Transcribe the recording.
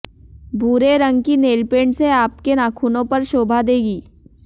भूरे रंग की नेलपेंट से आपके नाखुनो पर शोभा देगी